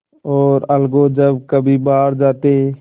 और अलगू जब कभी बाहर जाते